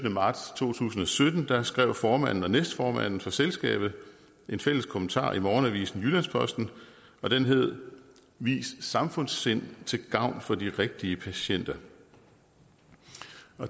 marts to tusind og sytten skrev formanden og næstformanden for selskabet en fælles kommentar i morgenavisen jyllands posten den hed vis samfundssind til gavn for de rigtige patienter